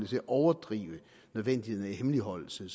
til at overdrive nødvendigheden af hemmeligholdelse